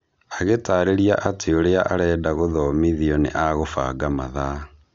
Agitarĩria atĩ ũrĩa arenda gũthomithio nĩ agũbanga mathaa.